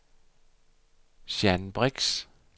Jeanne Brix